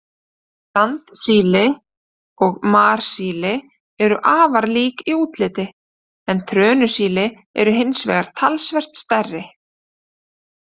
Sandsíli og marsíli eru afar lík í útliti, en trönusíli eru hins vegar talsvert stærri.